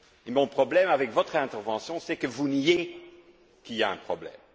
Mon problème, avec votre intervention, c'est que vous niez qu'il y a un problème.